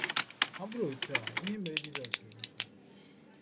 Ọ bụrụ otu a, ihe mere Jizọs ga-emekwa anyị.